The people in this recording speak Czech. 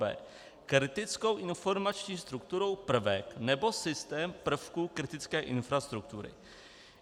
b) kritickou informační strukturou prvek nebo systém prvku kritické infrastruktury.